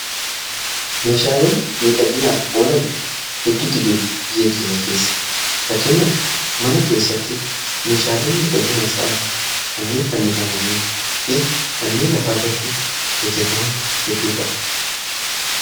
Meeshaaleen miidhaginaaf oolan hedduutti jiru. Biyye keenya keessa akka fakkeenyaaf mana keessatti meeshaalen miidhaginaaf ta'an kanneen fannifamanii fi kanneen lafa irratti hojjetaman hedduudha.